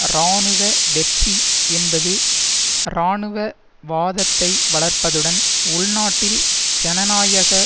இராணுவ வெற்றி என்பது இராணுவவாதத்தை வளர்ப்பதுடன் உள்நாட்டில் ஜனநாயக